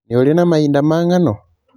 Nĩ ũrĩ na mahinda ma ng'ano?